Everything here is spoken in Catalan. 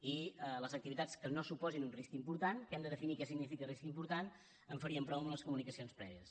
i les activitats que no suposin un risc important que hem de definir què significa risc important en farien prou amb les comunicacions prèvies